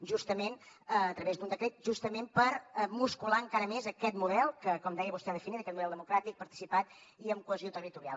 justament a través d’un decret justament per muscular encara més aquest model que com deia vostè ha definit aquest model democràtic participat i amb cohesió territorial